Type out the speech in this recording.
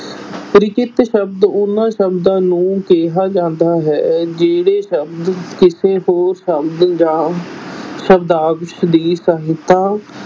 ਸ਼ਬਦ ਉਹਨਾਂ ਸ਼ਬਦਾਂ ਨੂੰ ਕਿਹਾ ਜਾਂਦਾ ਹੈ, ਜਿਹੜੇ ਸ਼ਬਦ ਕਿਸੇ ਹੋਰ ਸ਼ਬਦ ਜਾਂ ਸ਼ਬਦਾਂਸ਼ ਦੀ ਸਹਾਇਤਾ